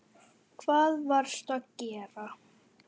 Hvað varstu að gera?